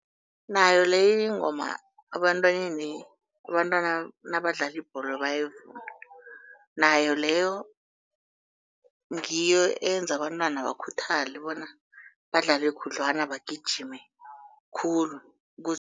Nayo leyo ingoma ebantwaneni abantwana nabadlala ibholo bayayivuma. Nayo leyo ngiyo eyenza abantwana bakhuthale bona badlale khudlwana bagijime khulu